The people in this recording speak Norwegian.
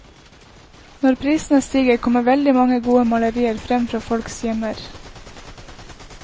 Når prisene stiger, kommer veldig mange gode malerier frem fra folks gjemmer.